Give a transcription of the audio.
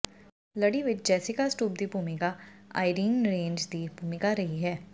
ਲੜੀ ਵਿਚ Jessica Stroup ਦੀ ਭੂਮਿਕਾ ਆਈਰੀਨ ਰੇਂਜ ਦੀ ਭੂਮਿਕਾ ਰਹੀ ਹੈ